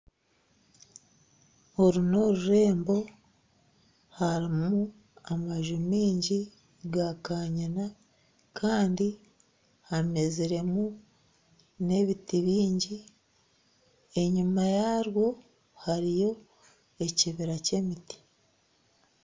Oru n'orurembo harimu amaju maingi gakanyina kandi hameziremu n'ebiti bingi enyuma yaarwo harimu ekibira kyemiti